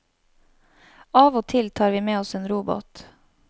Av og til tar vi med oss en robåt.